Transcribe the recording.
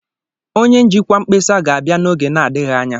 Onye njikwa mkpesa ga-abịa n'oge na-adịghị anya.